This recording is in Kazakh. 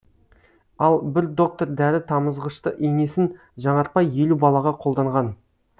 ал бір доктор дәрі тамызғышты инесін жаңартпай елу балаға қолданған